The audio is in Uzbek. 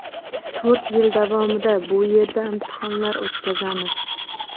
To‘rt yil davomida bu yerda imtihonlar o‘tkazamiz.